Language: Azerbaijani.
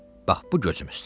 Bax bu gözüm üstə.